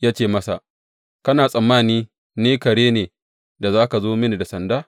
Ya ce masa, Kana tsammani ni kare ne da za ka zo mini da sanda?